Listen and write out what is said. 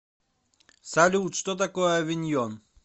салют что такое авиньон